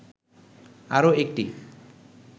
আরো একটি